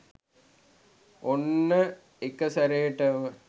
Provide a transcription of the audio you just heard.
ඔන්න එකසැරේටම